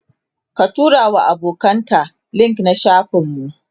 ka turawa abokanan ka link na shafin mu